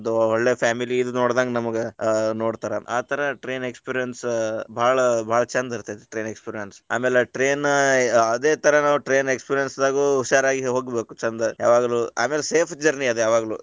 ಒಳ್ಳೆ family ಇದ ನೋಡದಂಗ ನಮಗ ಆ ನೋಡ್ತಾರ ಆ ತರಾ train experience ಬಾಳ ಬಾಳ ಚಂದ ಇರತೈತಿ train experience , ಆಮ್ಯಾಲ train ಅದೇ ತರಾ ನಾವ್ train experience ದಾಗ ಹುಷಾರಾಗಿ ಹೋಗ್ಬೇಕು ಚಂದ, ಯಾವಾಗ್ಲು ಆಮೇಲೆ safe journey ಅದ ಯಾವಾಗ್ಲು.